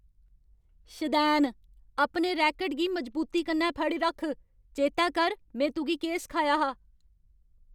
शदैन। अपने रैकट गी मजबूती कन्नै फड़ी रक्ख। चेतै कर में तुगी केह् सखाया हा।